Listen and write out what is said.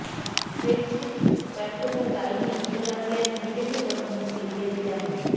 Brexit ব্যর্থতার দায় নিয়ে সরে দাঁড়ালেন ব্রিটেনের প্রধানমন্ত্রী টেরিজা মে